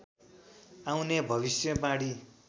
आउने भविष्यवाणी